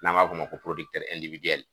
N b'a f'o ma ko